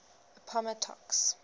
appomattox